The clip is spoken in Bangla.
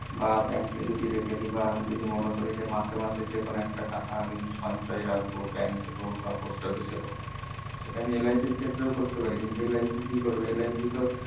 বা bank কে যদি রেখে দিয় বা আমি যদি মনে করি যে মাসে মাসে যে কোনো একটা টাকা আমি সঞ্চয়ে রাখবো bank এ হোক বা post office এ হোক সেটা আমি LIC এর ক্ষেত্রেও করতে পার কিন্তু LIC কি করবে LIC তো